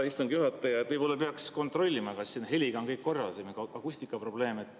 Hea istungi juhataja, võib-olla peaks kontrollima, kas siin heliga on kõik korras või on akustikaprobleeme.